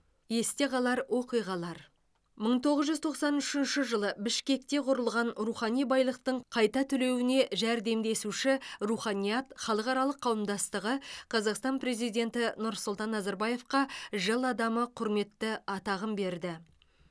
есте қалар оқиғалар мың тоғыз жүз тоқсан үшінші жылы бішкекте құрылған рухани байлықтың қайта түлеуіне жәрдемдесуші руханият халықаралық қауымдастығы қазақстан президенті нұрсұлтан назарбаевқа жыл адамы құрметті атағын берді